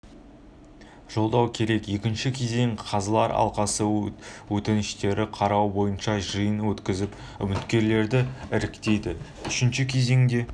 жолдау керек екінші кезең қазылар алқасы өтініштерді қарау бойынша жиын өткізіп үміткерлерді іріктейді үшінші кезеңде